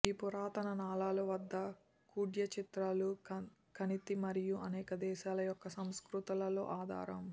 ఈ పురాతన నాళాలు వద్ద కుడ్యచిత్రాలు కణితి మరియు అనేక దేశాల యొక్క సంస్కృతులలో ఆధారం